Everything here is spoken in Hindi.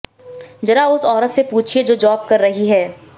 ज़रा उस औरत से पूछिए जो जॉब कर रही है